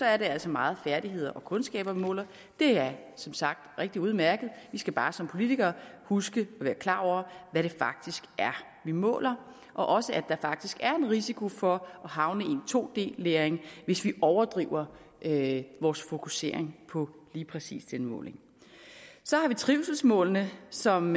er det altså meget færdigheder og kundskaber vi måler det er som sagt rigtig udmærket vi skal bare som politikere huske at være klar over hvad det faktisk er vi måler og også at der faktisk er en risiko for at havne i en 2d læring hvis vi overdriver vores fokusering på lige præcis den måling så har vi trivselsmålene som